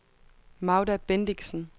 Magda Bendixen